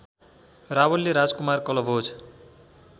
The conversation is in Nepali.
रावलले राजकुमार कलभोज